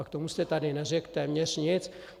A k tomu jste tady neřekl téměř nic.